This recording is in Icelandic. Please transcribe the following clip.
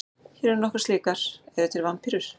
Hér eru nokkrar slíkar: Eru til vampírur?